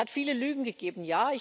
Es hat viele Lügen gegeben.